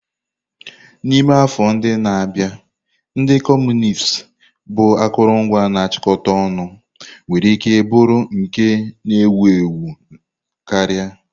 N'ime afọ ndị na-abịa, ndị Kọmunist bụ akụrụngwa na-achịkọta ọnụ nwere ike bụrụ nke ewu ewu karịa.